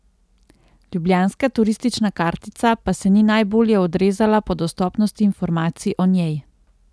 Ljubljanska turistična kartica pa se ni najbolje odrezala po dostopnosti informacij o njej.